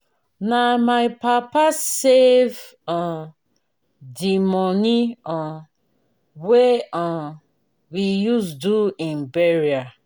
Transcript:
na my papa save um di moni um wey um we use do im burial.